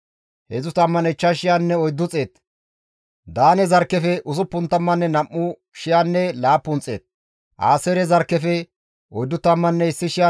olas baana dandayza addeti ubbay isttas layththay nam7u tammanne hessafekka bollara dizayti ba zarkken zarkken qoodettida.